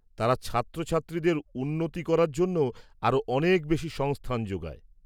-তারা ছাত্রছাত্রীদের উন্নতি করার জন্য আরও অনেক বেশি সংস্থান যোগায়।